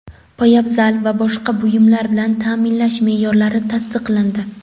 poyabzal va boshqa buyumlar bilan taʼminlash meʼyorlari tasdiqlandi.